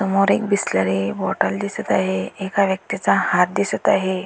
समोर एक बिसलरी बॉटल दिसत आहे एका व्यक्तिचा हात दिसत आहे.